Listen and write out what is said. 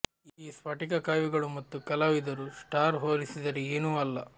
ಈ ಸ್ಫಟಿಕ ಕವಿಗಳು ಮತ್ತು ಕಲಾವಿದರು ಸ್ಟಾರ್ ಹೋಲಿಸಿದರೆ ಏನೂ ಅಲ್ಲ